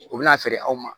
U bɛna feere aw ma